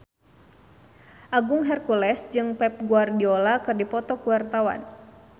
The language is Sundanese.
Agung Hercules jeung Pep Guardiola keur dipoto ku wartawan